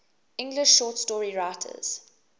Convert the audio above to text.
english short story writers